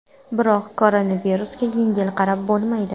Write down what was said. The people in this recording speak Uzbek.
Biroq koronavirusga yengil qarab bo‘lmaydi.